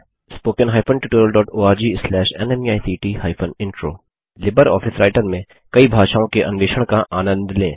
spoken hyphen tutorial dot O R G slash NMEICT hyphen intro LibreOffice Writer में कई भाषाओं के अन्वेषण का आनंद लें